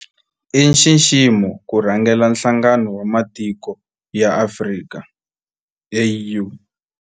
I nxiximo ku rhangela Nhlangano wa Matiko ya Afrika, AU.